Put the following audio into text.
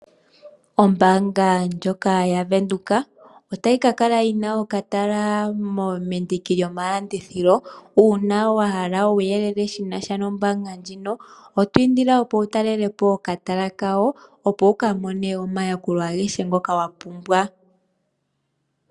Ombaanga ndjoka haVenduka otayi ka kala yina okatala mendiki lyomalandithilo. Uuna wahala uuyelele shinasha nombaanga ndjika, oto indilwa opo wutalelepo okatala kao, opo wukamone omayakulo agehe ngoka wapumbwa.